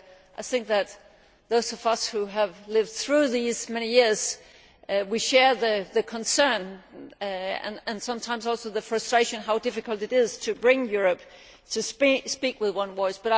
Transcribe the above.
I think that those of us who have lived through these many years share the concern, and sometimes also the frustration, over how difficult it is to bring Europe to speak with one voice.